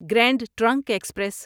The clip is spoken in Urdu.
grand Trunk express